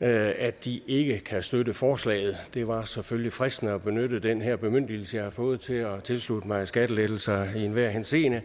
at at de ikke kan støtte forslaget det var selvfølgelig fristende at benytte den her bemyndigelse jeg har fået til at tilslutte mig skattelettelser i enhver henseende